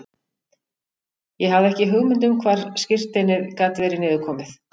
Ég hafði ekki hugmynd um hvar skírteinið gat verið niður komið.